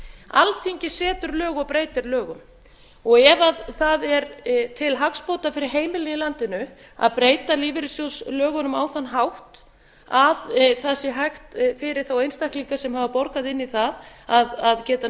alþingi setur lög og breytir lögum ef það er til hagsbóta fyrir heimilin í landinu að breyta lífeyrissjóðslögunum á þann hátt að það sé hægt fyrir þá einstaklinga sem hafa borgað inn í það að geta